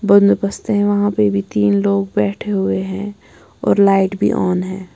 बंदोबस्त है वहां पे भी तीन लोग बैठे हुए हैं और लाइट भी ऑन है।